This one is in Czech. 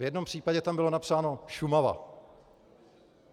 V jednom případě tam bylo napsáno Šumava.